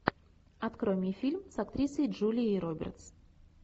открой мне фильм с актрисой джулией робертс